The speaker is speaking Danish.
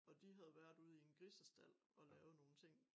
Og de havde været ude i en grisestald og lave nogen ting